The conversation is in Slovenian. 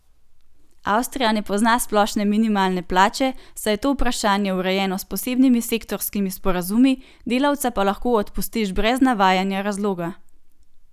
Avstrija ne pozna splošne minimalne plače, saj je to vprašanje urejeno s posebnimi sektorskimi sporazumi, delavca pa lahko odpustiš brez navajanja razloga.